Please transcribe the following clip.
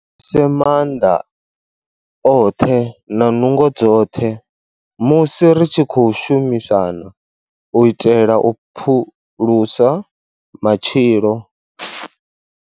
Se maanḓa oṱhe na nungo dzoṱhe musi ri tshi khou shumisana u itela u phulusa matshilo.